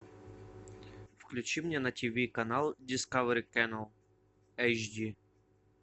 включи мне на тв канал дискавери кэнел эйч ди